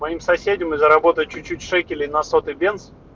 моим соседям и заработать чуть-чуть шекелей на сотый бенз